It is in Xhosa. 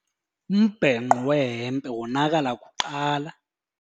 Umbhenqo wehempe wonakala kuqala.